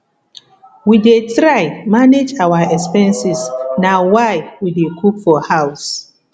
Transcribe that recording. we dey try manage our expenses na why we dey cook for house